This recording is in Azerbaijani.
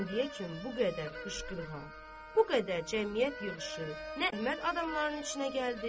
İndiyəcən bu qədər qışqırıq, bu qədər cəmiyyət yığışıb, nə adamlara içinə gəldi.